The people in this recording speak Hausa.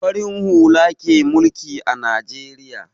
Farin hula ke mulki a Najeriya.